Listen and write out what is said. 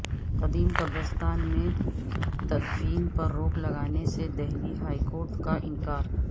قدیم قبرستان میں تدفین پر روک لگانے سے دہلی ہائی کورٹ کا انکار